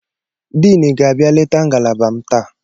Dean ga-abịa leta ngalaba m taa.